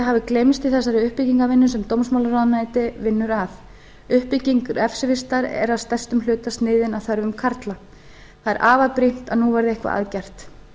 hafi gleymst í þessari uppbyggingarvinnu sem dómsmálaráðuneytið vinnur að uppbygging refsivistar er að stærstum hluta sniðin að þörfum karla það er afar brýnt að nú verði eitthvað að gert